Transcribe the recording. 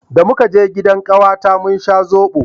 da muka je gidan kawata mun sha zobo